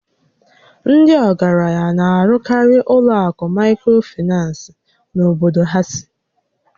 Ndị ọgaranya na-arụkarị ụlọ akụ Maịkrofinans n'obodo ha sì